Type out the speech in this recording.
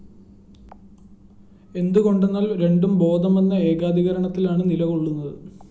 എന്തു കൊണ്ടെന്നാല്‍ രണ്ടും ബോധമെന്ന ഏകാധികരണത്തിലാണു നിലകൊള്ളുന്നത്